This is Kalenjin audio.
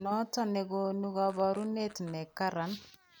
Noton nekoonu kaboruneet nekaran